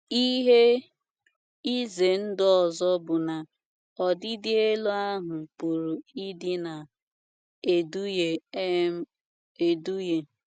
Ihe ize ndụ ọzọ bụ na ọdịdị elu ahụ pụrụ ịdị na - eduhie um eduhie.